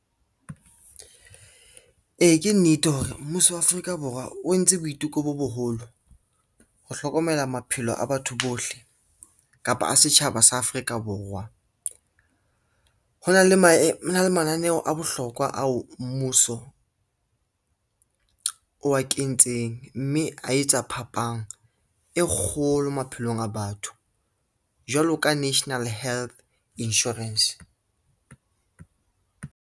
Ee, ke nnete hore mmuso wa Afrika Borwa o entse boiteko bo boholo ho hlokomela maphelo a batho bohle kapa a setjhaba sa Afrika Borwa. Ho na le mananeo a bohlokwa ao mmuso o a kentseng, mme a etsa phapang e kgolo maphelong a batho, jwalo ka national health insurance.